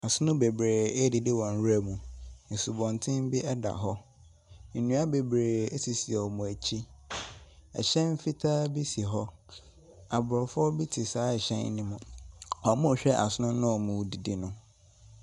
Asono bebree redidi wɔ nwuram. Asubɔnten bi da hɔ. Nnua bebree sisi wɔn akyi. Ɛhyɛn fitaa bi si hɔ. Aborɔfo bi te saa hyɛn no mu. Wɔrehwɛ asono a wɔredidi no.